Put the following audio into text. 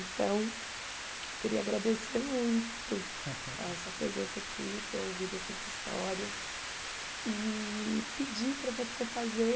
Então, queria agradecer muito a sua presença aqui, ter ouvido essas histórias e pedir para você fazer